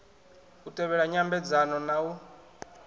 u tevhela nyambedzano na u